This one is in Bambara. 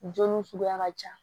Joli suguya ka ca